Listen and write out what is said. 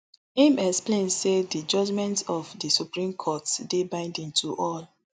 im explain say di judgement of di supreme court dey binding to all